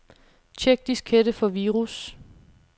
Check diskette for virus.